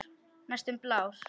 Næstum blár.